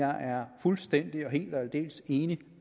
er fuldstændig helt og aldeles enig